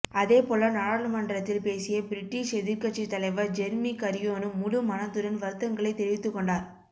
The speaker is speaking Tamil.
அதேபோல நாடாளு மன்றத்தில் பேசிய பிரிட்டிஷ் எதிர்க்கட்சித் தலைவர் ஜெர்மி கரியோனும் முழு மனதுடன் வருத்தங்களைத் தெரிவித்துக் கொண்டார்